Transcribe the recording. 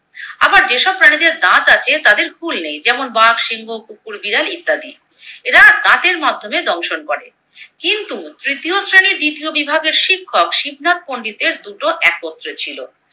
আবার যেসব প্রাণীদের দাঁত আছে তাদের হুল নেই, যেমন বাঘ, সিংহ, কুকুর, বিড়াল ইত্যাদি। এরা দাঁতের মাধ্যমে দংশন করে। কিন্তু তৃতীয় শ্রেণীর দ্বিতীয় বিভাগের শিক্ষক শিবনাথ পন্ডিতের দুটো একত্রে ছিলো।